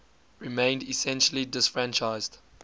remained essentially disfranchised